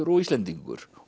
og Íslendingur